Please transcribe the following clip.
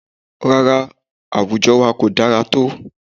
Rárá, àwùjọ wa ko dára tó